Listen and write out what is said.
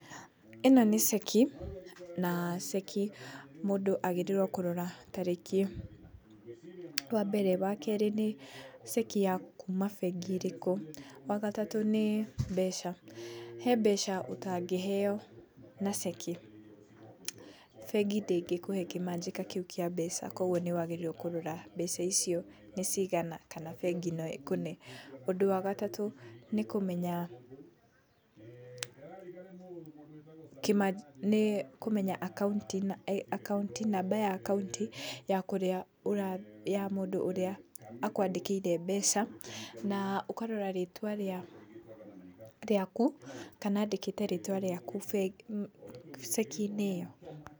Ĩno nĩ ceki, na ceki mũndũ agĩrĩirwo kũrora tarĩki iyo wa mbere. Wa keri, nĩ ceki ya kuuma bengi ĩrĩkũ. Wa gatatũ, nĩ mbeca, he mbeca ũtangĩheyo na ceki. Bengi ndĩngĩkũhe kĩmanjĩka kĩu kĩa mbeca, koguo nĩ wagĩrĩirwo kũrora mbeca icio nĩ cigana, kana bengi no ĩkũne. Ũndũ wa gatatũ, nĩ kũmenya kĩmanjĩka, nĩ kũmenya akaunti, namba ya akaunti ya kũrĩa, ya mũndũ ũrĩa akwandĩkĩire mbeca, na ũkarora rĩtwa rĩaku, kana andĩkĩte rĩtwa rĩaku ceki-inĩ ĩyo.